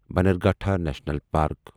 Bannerghatta national park